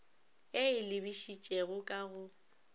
e e lebišitšego ka go